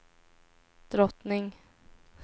drottning